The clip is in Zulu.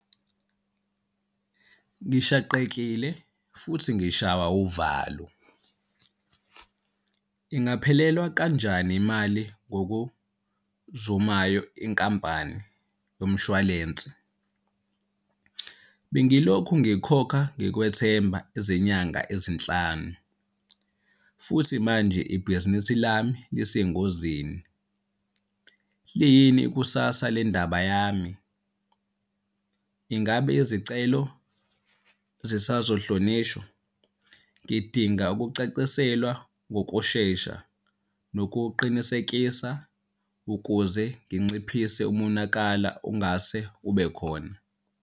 Ngishaqekile futhi ngishawa uvalo. Ingaphelelwa kanjani imali ngokuzumayo inkampani yomshwalensi? Bengilokhu ngikhokha ngikwethemba izinyanga ezinhlanu, futhi manje ibhizinisi lami lisengozini. Liyini ikusasa lendaba yami? Ingabe izicelo zisazohlonishwa? Ngidinga ukucaciselwa ngokushesha, nokuqinisekisa ukuze nginciphise umonakala ongase ube khona.